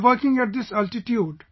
We are working at this altitude